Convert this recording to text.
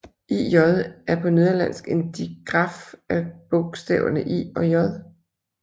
Ĳ er på nederlandsk en digraf af bogstaverne I og J